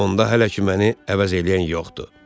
Onda hələ ki məni əvəz eləyən yoxdur.